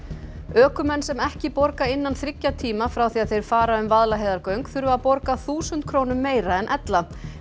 ökumenn sem ekki borga innan þriggja tíma frá því þeir fara um Vaðlaheiðargöng þurfa að borga þúsund krónum meira en ella